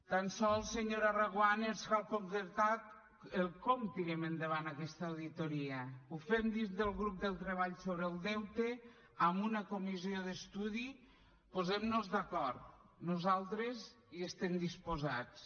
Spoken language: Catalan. tan sols senyora reguant ens cal concretar el com tirem endavant aquesta auditoria ho fem dins del grup de treball sobre el deute amb una comissió d’estudi posem nos d’acord nosaltres hi estem disposats